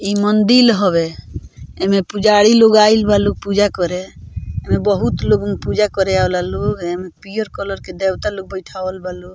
इ मंदील हवे ए में पुजारी लोग आइल बा लोग पूजा करे एमे बहुत लोग पूजा करे आवला लोग एमें पियर कलर के देवता लोग बैठावल बा लो --